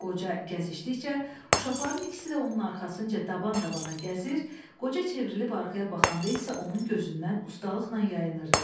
Qoca gəzişdikcə, uşaqların ikisi də onun arxasınca daban-dabana gəzir, qocə çevrilib arxaya baxanda isə onun gözündən ustalıqla yayınırdılar.